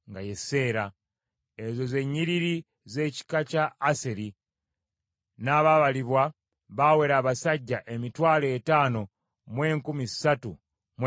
Ezo ze nnyiriri z’ekika kya Aseri; n’abaabalibwa baawera abasajja emitwalo etaano mu enkumi ssatu mu ebikumi bina (53,400).